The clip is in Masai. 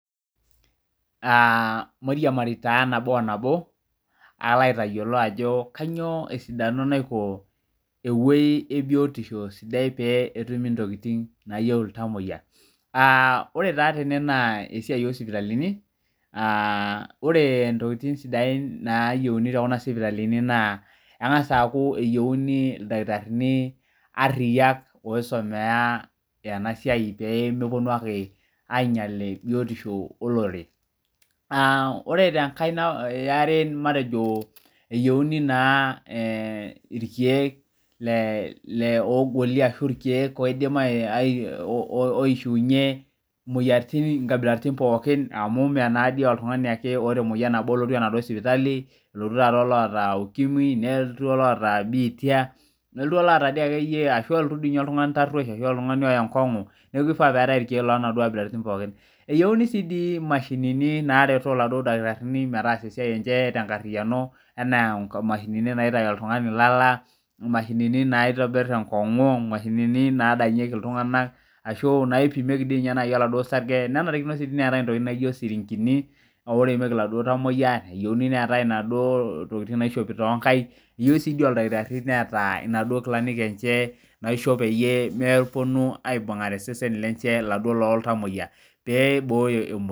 Aa mairiamari nabo onabo palo aotaduaki ajo kanyio esidano eunisho petumi ntokitin nayieu iltamoyia aa ore naa tene na esiai osipitalini ore ntokitin nayieuni tene na ntokitin osipitalini engasa aaku keyieuni ildakitarini ariyak oisomea enasiai pemeponu ainya biotisho olorere ore enkae eare na matejo eyiauni irkiek oidim aishiiunye nkabilaitin pooki amu meoltungani oishiunye me oltungani obo olotu emaduo sipitali elotu olaata biitia nelotu olaata akeyie arashu elotu duo ake oltungani oya enkongu neaku kifaa oeetae irkiek pooki eyieuni neetae imashinini nareto ildakitarini metaasa esiai enye tenkariano enaa mashinini naitaya oltungani lala mashinini nadanyieki ltunganak ashu kuna naipimieki osarge nenare neetae isirinkini oudieki laduo tamoyia eyiauni neetae naduo tokitin naishopi tonkaik eyiauni si meeta ildakitarini noshi kilani enye maishop peyie meponu aibungare seseni lenche loltamoyia peibooyo emoyian.